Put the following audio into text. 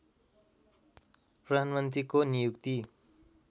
प्रधानमन्त्रीको नियुक्ति